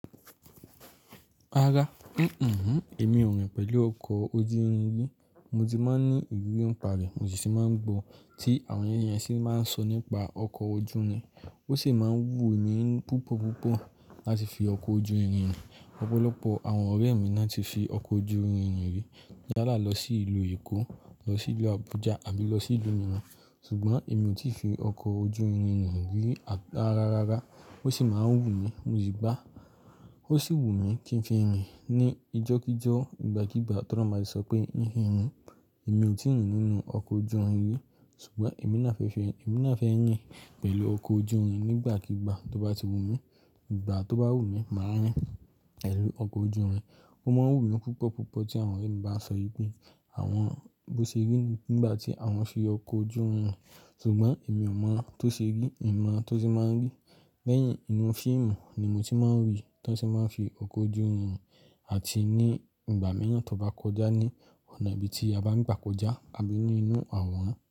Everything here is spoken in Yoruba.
Rárá, mí ò rìn pẹ̀lú ọkọ̀ ojú irin rí. Mo ti máa ń ní ìwúrí ní parẹ̀, Mo sì máa ń gbọ́ tí àwọn èèyàn yẹn sì máa ń sọ nípa ọkọ̀ ojú irin. Ó sì máa ń wù mí púpọ̀ púpọ̀ láti fi ọkọ̀ ojú irin rìn. Ọ̀pọ̀lọpọ̀ àwọn ọ̀rẹ́ mi ná ti fi ọkọ̀ ojú irin irin rí. Tí n bá lọ sí ìlú Èkó, lọ sí ìlú Abuja àbí lọ sí ìlú mìíràn. Ṣùgbọ́n èmi ò tí ì fi ọkọ̀ ojú irin rìn rí rárá rárá. Ó sì máa ń wù mí, mo sì gbá. Ó sì wù mí kí ń fi rìn ní ijọ́ kí jọ́, ìgbà kigbà t'Ọ́lọ́run bá ti sọ pé kí n fi rìn. Èmi ò tí ń rìn nínú ọkọ̀ ojú irin rí. Ṣùgbọ́n èmi náa fẹ́ fi, èmi náa fẹ́ rìn pẹ̀lú ọkọ̀ ojú irin nígbàkigbà tó bá ti wù mí. Ìgbà tó bá wù mí, màá rìn pẹ̀lú ọkọ̀ ojú irin. Ó máa ń wù mí púpọ̀ púpọ̀ tí àwọn ọ̀rẹ́ mi bá sọ ípé àwọn bó ṣe rí nígbà tí àwọn fi ọkọ̀ ojú irin rìn. Ṣùgbọ́n èmi ò mọ tó ṣe rí, mi mọ tó ṣe máa ń rí. Lẹ́yìn inú fíìmù ni mo ti máa ń rí tí wọ́n sì máa ń fi ọkọ̀ ojú irin rìn àti ní ìgbà míràn tó bá kọjá ní ọ̀nà ibi tí a bá ń gbà kọjá àbí ni inú àwòrán.